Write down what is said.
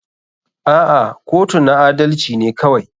A'a kotu na adalci ne kawai.